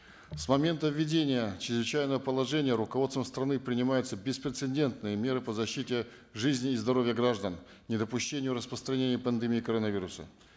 с момента введения чрезвычайного положения руководством страны принимаются беспрецендентные меры по защите жизни и здоровья граждан недопущению распространения пандемии коронавируса